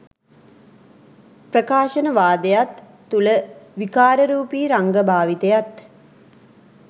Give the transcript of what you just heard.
ප්‍රකාශනවාදයත් තුළ විකාරරූපී රංග භාවිතයත්